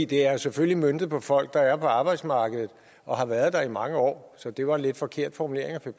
det er selvfølgelig møntet på folk der er på arbejdsmarkedet og har været der i mange år så det var en lidt forkert formulering der